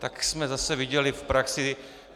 Tak jsme zase viděli v praxi...